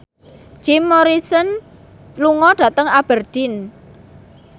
Jim Morrison lunga dhateng Aberdeen